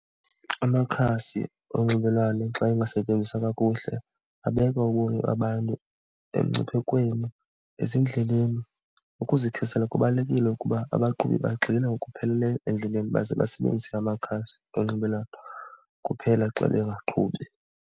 Amakhasi onxibelelwano xa engasetyenziswa kakuhle abeka ubomi babantu emngciphekweni ezindleleni. Ukuzikhusela kubalulekile ukuba abaqhubi bagxile ngokupheleleyo endleleni baze basebenzise amakhasi onxibelelwano kuphela xa bengaqhubi.